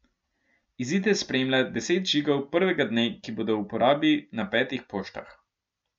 Izide spremlja deset žigov prvega dne, ki bodo v uporabi na petih poštah.